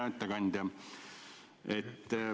Hea ettekandja!